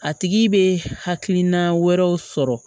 A tigi bɛ hakilina wɛrɛw sɔrɔ